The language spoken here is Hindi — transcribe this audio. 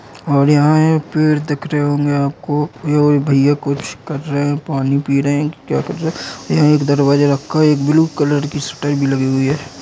और यहाँ है पेड़ दिख रहे होंगे आपको ये वो भैया कुछ कर रहे हैं पानी पी रहे हैं की क्या कर रहे हैं। यहाँ एक दरवाजा रखा हुआ है। एक ब्लू कलर की शटर भी लगी हुयी है।